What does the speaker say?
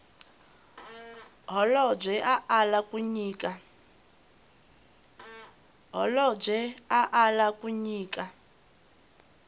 holobye a ala ku nyika